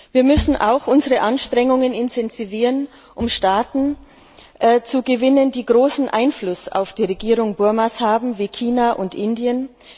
Wir müssen auch unsere Anstrengungen intensivieren, um Staaten zu gewinnen, die großen Einfluss auf die Regierung Burmas haben, wie China und Indien.